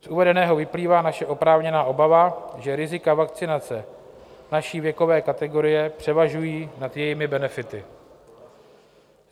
Z uvedeného vyplývá naše oprávněná obava, že rizika vakcinace naší věkové kategorie převažují nad jejími benefity.